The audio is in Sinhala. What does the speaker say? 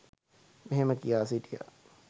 මෙහෙම කියා සිටියා.